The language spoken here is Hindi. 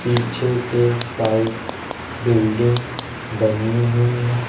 पीछे के साइड बिल्डिंग बनी हुई हैं।